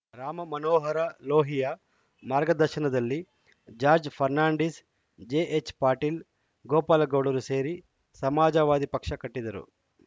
ರಾಮ ಮನೋಹರ ಲೋಹಿಯಾ ಮಾರ್ಗದರ್ಶನದಲ್ಲಿ ಜಾರ್ಜ್ ಫರ್ನಾಂಡೀಸ್‌ ಜೆಎಚ್‌ಪಟೇಲ್‌ ಗೋಪಾಲಗೌಡರು ಸೇರಿ ಸಮಾಜವಾದಿ ಪಕ್ಷ ಕಟ್ಟಿದರು